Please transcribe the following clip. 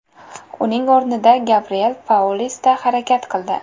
Uning o‘rnida Gabriel Paulista harakat qildi.